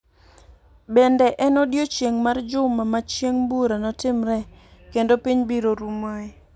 Bende en odiechieng' mar juma ma Chieng' bura notimree kendo piny biro rumoe.